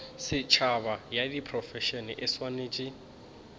setšhaba ya diprofense e swanetše